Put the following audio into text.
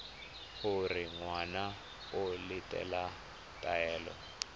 gore ngwana o latela taelo